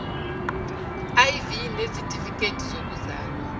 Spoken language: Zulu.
iv nezitifiketi zokuzalwa